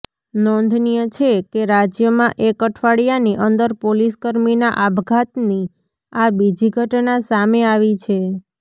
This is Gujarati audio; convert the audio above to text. નોંધનીય છે કે રાજ્યમાં એક અઠવાડિયાની અંદર પોલીસકર્મીના આપઘાતની આ બીજી ઘટના સામે આવી છે